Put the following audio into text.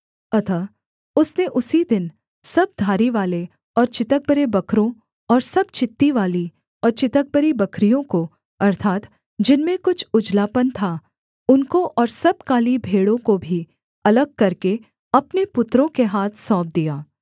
अतः उसने उसी दिन सब धारीवाले और चितकबरे बकरों और सब चित्तीवाली और चितकबरी बकरियों को अर्थात् जिनमें कुछ उजलापन था उनको और सब काली भेड़ों को भी अलग करके अपने पुत्रों के हाथ सौंप दिया